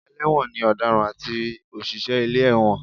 Ẹlẹ́wọ̀n ni ọ̀daràn àti òṣìṣẹ́ ilé ẹ̀wọ̀n